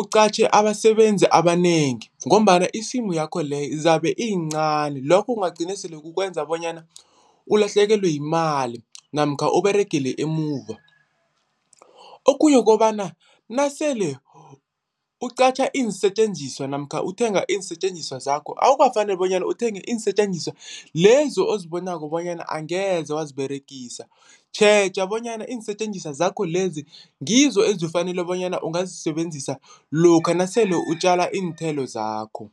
uqatjhe abasebenzi abanengi ngombana isimu yakho leyo zabe iyincani lokho kungagcina sele kukwenza bonyana ulahlekelwe yimali namkha oberegele emuva. Okhunye ukobana nasele ukuqatjha iinsetjenziswa namkha uthenga iinsetjenziswa zakho awukafaneli bonyana uthenge iinsetjenziswa lezo ozibonako bonyana angeze waziberegisa, tjheja bonyana iinsetjenziswa zakho lezi ngizo ezifanele bonyana ongazisebenzisa lokha nasele utjala iinthelo zakho.